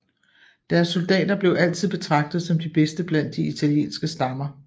Deres soldater blev altid betragtet som de bedste blandt de italienske stammer